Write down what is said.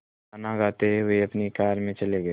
गाना गाते हुए अपनी कार में चले गए